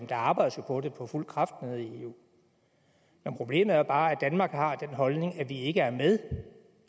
der arbejdes jo på det for fuld kraft nede i eu problemet er bare at danmark har den holdning at vi ikke er med